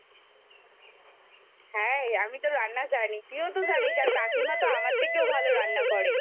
হ্যাঁ আমি তো রান্না জানি তুই তো জানিস আর কাকিমা আমার থেকেও ভালো রান্না করে।